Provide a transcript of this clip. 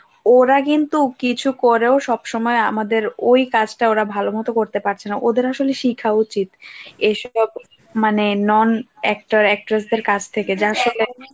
ওরা কিন্তু কিছু করেও সব সময় আমাদের ওই কাজটা ওরা ভালোমতো করতে পারছে না ওদের আসলে শিখা উচিত এই মানে non actor actress দের কাছ থেকে যার